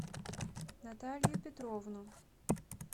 наталью петровну